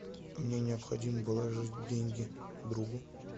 мне необходимо положить деньги другу